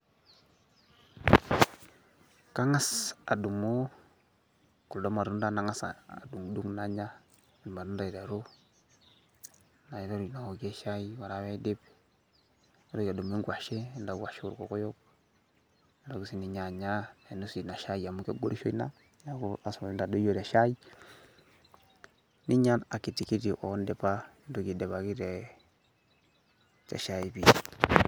Kang'as adumu kuldo matunda nang'asa adung'dung' nanya irmatunda aiteru naiteru awokie shai, ore ake paidip naitoki adumu eng'washe enda kwashe orkokoyo naitoki sininye anya nainosie ina shai amu kegorisho ina neeku lazima pee intadoyio te shai ninya akitikiti o ndipa nintoki aidipaki te shai pii.